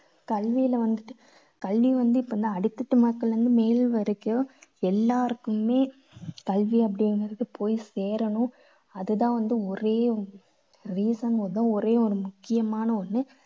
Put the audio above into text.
கல்வியில வந்துட்டு கல்வி வந்து இப்போ வந்து அடித்தட்டு மக்களிலிருந்து மேல் வரைக்கும் எல்லாருக்குமே கல்வி அப்படிங்கறது போய் சேரணும். அது தான் வந்து ஒரே reason வந்து ஒரே ஒரு முக்கியமான ஒண்ணு.